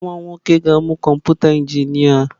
Nwa m nwoke ga-amụ kọmpụta injinia.